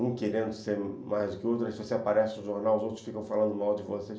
Um querendo ser mais do que o outro, aí você aparece no jornal, os outros ficam falando mal de vocês.